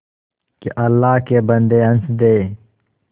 के अल्लाह के बन्दे हंस दे